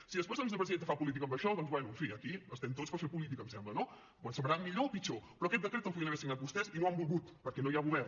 si després la vicepresidenta fa política amb això doncs bé en fi aquí estem tots per fer política em sembla no ens semblarà millor o pitjor però aquest decret el podien haver signat vostès i no ho han volgut perquè no hi ha govern